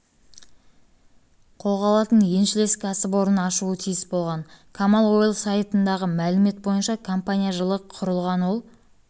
алатын еншілес кәсіпорын ашуы тиіс болған камал ойл сайтындағы мәлімет бойынша компания жылы құрылған ол